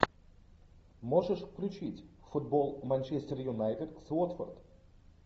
можешь включить футбол манчестер юнайтед с уотфорд